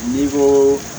Ni ko